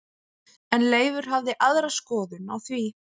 En Leifur hafði aðra skoðun á því.